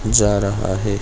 जा रहा है।